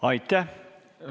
Aitäh!